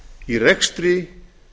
í rekstri